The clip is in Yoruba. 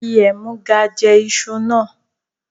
Fi ẹ̀múga jẹ́ ìṣù náà!